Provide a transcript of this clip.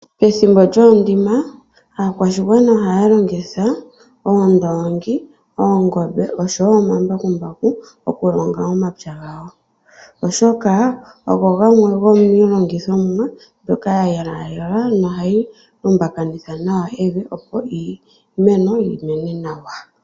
Pethimbo lyoondima aakwashigwana ohaya longitha oondoongi, oongombe oshowo omambakumbaku okulonga omapya gawo, oshoka ogo gamwe gomiilongithomwa mbyoka ya yelwa yelwa no hayi lumbakanitha nawa evi opo iimeno yi mene nawa.